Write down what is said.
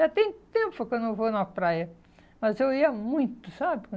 Já tem tempo que eu não vou na praia, mas eu ia muito, sabe?